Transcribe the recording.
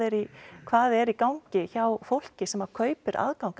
hvað er í gangi hjá fólki sem kaupir aðgang